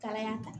Kalaya kan